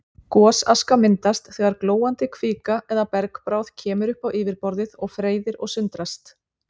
Gosaska myndast þegar glóandi kvika eða bergbráð kemur upp á yfirborðið og freyðir og sundrast.